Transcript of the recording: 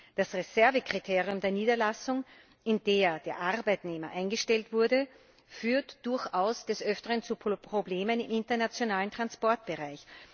Das Reservekriterium der Niederlassung, in der der Arbeitnehmer eingestellt wurde, führt durchaus des Öfteren zu Problemen im internationalen Transportbereich.